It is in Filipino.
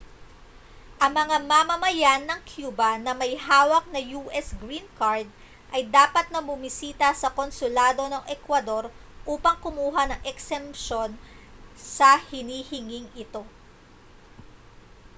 ang mga mamamayan ng cuba na may hawak na us green card ay dapat na bumisita sa konsulado ng ecuador upang kumuha ng eksemsyon sa hinihinging ito